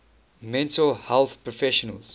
mental health professionals